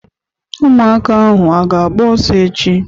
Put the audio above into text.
Ụmụaka ahụ a ga-agba ọsọ echi?